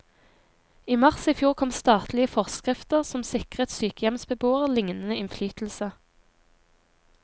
I mars i fjor kom statlige forskrifter som sikrer sykehjemsbeboere lignende innflytelse.